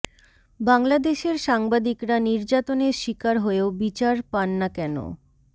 বাংলাদেশের সাংবাদিকরা নির্যাতনের শিকার হয়েও বিচার পান না কেন